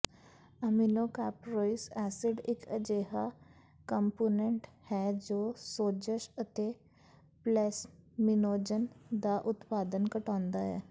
ਐਮਿਨੋਕਾਪ੍ਰੋਇਸ acid ਇੱਕ ਅਜਿਹਾ component ਹੈ ਜੋ ਸੋਜਸ਼ ਅਤੇ ਪਲੈਸਮੀਨੋਜਨ ਦਾ ਉਤਪਾਦਨ ਘਟਾਉਂਦਾ ਹੈ